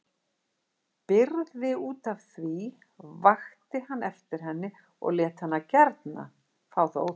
Brygði útaf því, vakti hann eftir henni og lét hana gjarna fá það óþvegið.